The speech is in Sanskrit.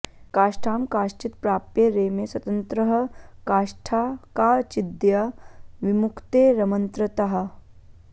काष्ठां काश्चित् प्राप्य रेमे स्वतन्त्रः काष्ठा काचिद्या विमुक्तेरमन्त्रतः